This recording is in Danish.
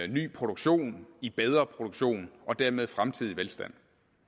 ny produktion i bedre produktion og dermed fremtidig velstand